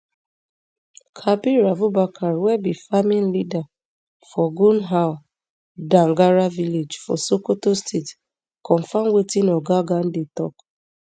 kabiru abubakar wey be farming leader for gunhwar dangara village for sokoto state confam wetin oga gandi tok